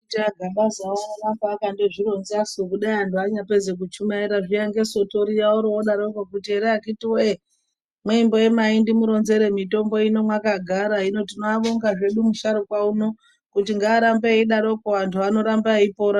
Anditia aGabazawo anoramba akazvironzasu kudai antu anyapedza kuchumaira zviya ngeSoto riya orodarako kuti here akhiti woye mwemboemai ndimuronzere mitombo ino mwakagara hino tinoabonga hedu musharuka uno kuti ngarambe idaroko antu anoramba eipora.